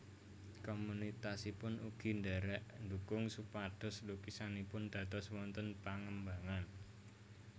Komunitasipun ugi ndherek ndukung supados lukisanipun dados wonten pangembangan